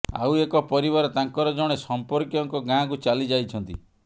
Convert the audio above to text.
ଆଉ ଏକ ପରିବାର ତାଙ୍କର ଜଣେ ସମ୍ପର୍କୀୟଙ୍କ ଗାଁକୁ ଚାଲି ଯାଇଛନ୍ତି